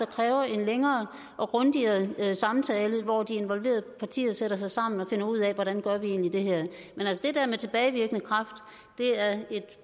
kræver en længere og grundigere samtale hvor de involverede partier sætter sig sammen og finder ud af hvordan gør vi egentlig det her men altså det der med tilbagevirkende kraft er et